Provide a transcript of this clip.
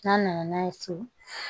N'an nana n'a ye so